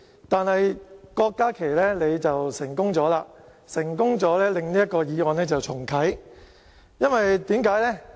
但是，郭家麒議員，你成功了，成功令這項議案重啟，為甚麼呢？